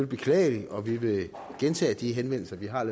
beklageligt og vi vil gentage de henvendelser vi har er